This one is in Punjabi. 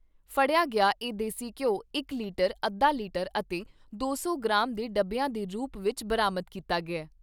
ਫੜਿਆ ਗਿਆ ਇਹ ਦੇਸੀ ਘਿਉ ਇਕ ਲਿਟਰ, ਅੱਧਾ ਲਿਟਰ ਅਤੇ ਦੋ ਸੌ ਗ੍ਰਾਮ ਦੇ ਡੱਬਿਆਂ ਦੇ ਰੂਪ ਵਿਚ ਬਰਾਮਦ ਕੀਤਾ ਗਿਆ ।